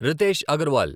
Riteish Agarwal